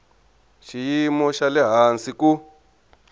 xiyimo xa le hansi ku